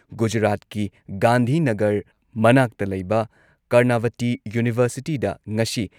ꯒꯨꯖꯔꯥꯠꯀꯤ ꯒꯥꯟꯙꯤꯅꯥꯒꯔ ꯃꯅꯥꯛꯇ ꯂꯩꯕ ꯀꯔꯅꯥꯚꯇꯤ ꯌꯨꯚꯔꯁꯤꯇꯤꯗ ꯉꯁꯤ